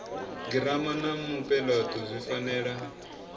girama na mupeleto zwi fanela